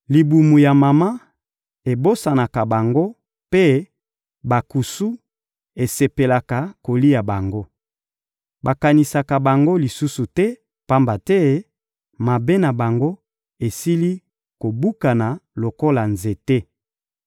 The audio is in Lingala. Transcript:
Libumu ya mama ebosanaka bango mpe bankusu esepelaka kolia bango. Bakanisaka bango lisusu te, pamba te mabe na bango esili kobukana lokola nzete.